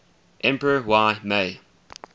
emperor y mei